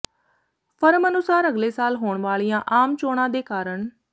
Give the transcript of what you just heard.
firm ਅਨੁਸਾਰ ਅਗਲੇ ਸਾਲ ਹੋਣ ਵਾਲੀਆਂ ਆਮ ਚੋਣਾਂ ਦੇ ਕਾਰਨ